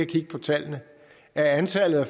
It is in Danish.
kigge på tallene at antallet af